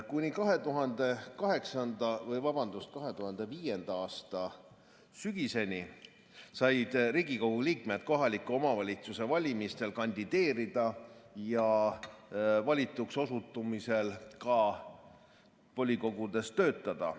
Kuni 2005. aasta sügiseni said Riigikogu liikmed kohaliku omavalitsuse valimistel kandideerida ja valituks osutumisel ka volikogudes töötada.